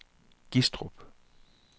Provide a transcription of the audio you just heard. Gistrup